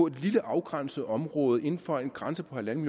et lille afgrænset område inden for en grænse på en